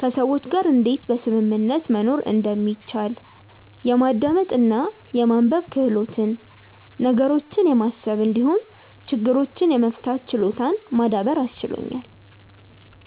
ከሰዎች ጋር እንዴት በስምምነት መኖር እንደሚቻል፣ የማዳመጥ እና የማንበብ ክህሎትን፣ ነገሮችን የማሰብ እንዲሁም ችግሮችን የመፍታት ችሎታን ማዳበር አስችሎኛል።